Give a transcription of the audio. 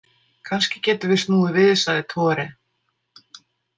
Kannski getum við snúið við, sagði Tore.